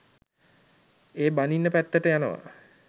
ඒ බනින පැත්තට යනවා